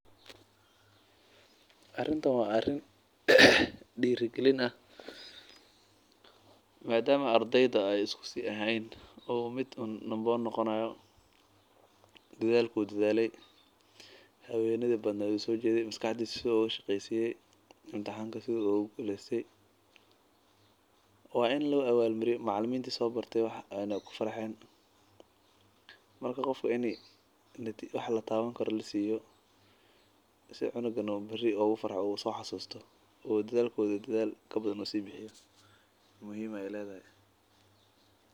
Arintan waa arin diiri galin ah madama ardeyda isku mid eheen sida uu imtixanka uugu guleste uu diiri galiyo si qofka wax lataban karo lasiiyo si uu usoo xasusto muhiim ayeey ledahay.